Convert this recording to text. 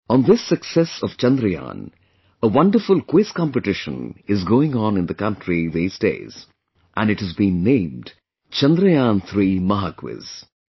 On this success of Chandrayaan, a wonderful quiz competition is going on in the country these days... and it has been named 'Chandrayaan3 Mahaquiz'